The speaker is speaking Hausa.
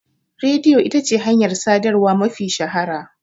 Rediyo ita ce hanyar sadarwa mafi shahara.